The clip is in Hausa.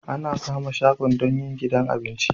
Ana kama shago don yin gidan abinci